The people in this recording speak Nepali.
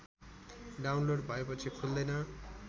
डाउनलोड भएपछि खुल्दैन